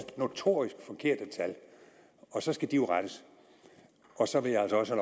notorisk forkerte tal og så skal de jo rettes så vil jeg altså også